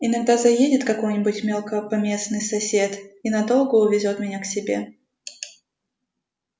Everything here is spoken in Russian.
иногда заедет какой-нибудь мелкопоместный сосед и надолго увезёт меня к себе